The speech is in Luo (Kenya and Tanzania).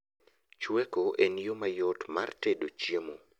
Chweko en yoo mayot mar tedo chiemo